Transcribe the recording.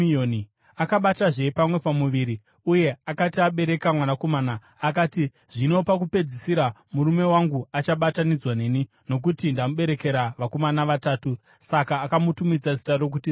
Akabatazve pamwe pamuviri uye akati abereka mwanakomana, akati, “Zvino pakupedzisira murume wangu achabatanidzwa neni, nokuti, ndamuberekera vanakomana vatatu.” Saka akamutumidza zita rokuti Revhi.